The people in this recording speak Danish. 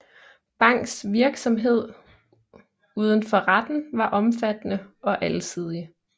Bangs virksomhed uden for retten var omfattende og alsidig